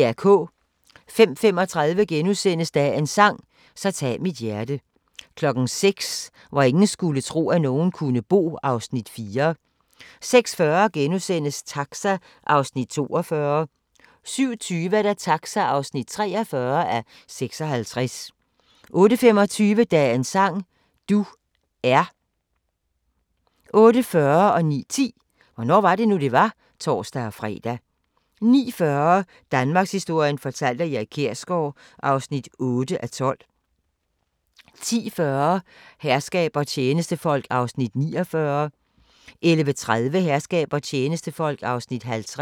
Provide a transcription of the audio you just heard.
05:35: Dagens sang: Så tag mit hjerte * 06:00: Hvor ingen skulle tro, at nogen kunne bo (Afs. 4) 06:40: Taxa (42:56)* 07:20: Taxa (43:56) 08:25: Dagens sang: Du er 08:40: Hvornår var det nu, det var? (tor-fre) 09:10: Hvornår var det nu, det var? (tor-fre) 09:40: Danmarkshistorien fortalt af Erik Kjersgaard (8:12) 10:40: Herskab og tjenestefolk (49:68) 11:30: Herskab og tjenestefolk (50:68)